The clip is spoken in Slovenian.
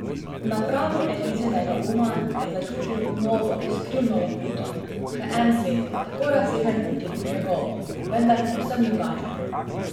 Na pragu Elizinega uma je začutil novo skrivno loputo, še en svet, tako razsežen, kot je bil njegov, vendar povsem drugačen.